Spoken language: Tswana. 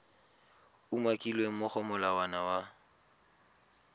umakilweng mo go molawana wa